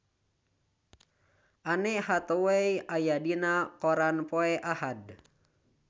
Anne Hathaway aya dina koran poe Ahad